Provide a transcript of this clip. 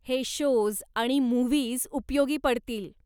हे शोज् आणि मुव्हीज उपयोगी पडतील.